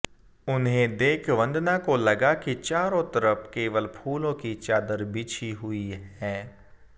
उन्हें देख वंदना को लगा कि चारों तरफ केवल फूलों की चादर बिछी हुई है